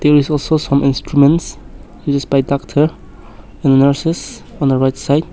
there is some instruments used by doctors and nurses on the right side.